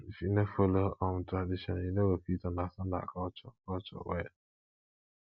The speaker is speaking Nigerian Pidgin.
if you no follow um tradition you no go fit understand our culture culture well